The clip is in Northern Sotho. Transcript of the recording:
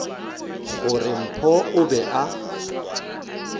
gore mpho o be a